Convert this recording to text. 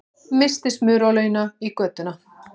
Missti smurolíuna í götuna